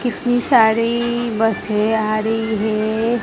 कितनी सारी बसें आ रही है।